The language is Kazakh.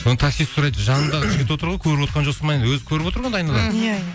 таксист сұрайды жаныңдағы жігіт отыр ғой көріп отырған жоқсың ба не өзі көріп отыр ғой айнадан иә иә